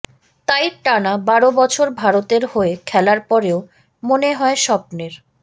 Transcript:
তাই টানা বারো বছর ভারতের হয়ে খেলার পরেও মনে হয় স্বপ্নের